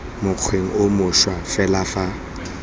mokgweng o mošwa fela fa